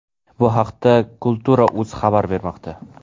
Bu haqda Kultura.uz xabar bermoqda .